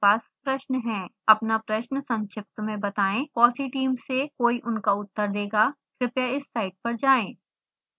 अपना प्रश्न संक्षिप्त में बताएं fossee टीम से कोई उनका उत्तर देगा